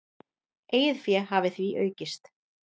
Eigið fé hafi því aukist.